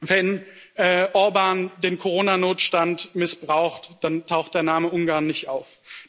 Wenn Orbán den Corona Notstand missbraucht, dann taucht der Name Ungarn nicht auf.